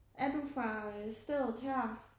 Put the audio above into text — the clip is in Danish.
Er du fra stedet her?